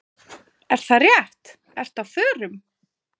Er það rétt, ertu á förum?